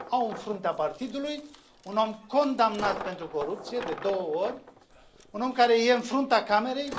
Au în fruntea partidului un om condamnat pentru corupție de două ori, un om care e în fruntea Camerei.